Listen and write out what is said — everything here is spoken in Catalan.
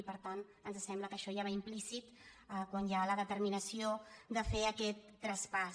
i per tant ens sembla que això ja va implícit quan hi ha la determinació de fer aquest traspàs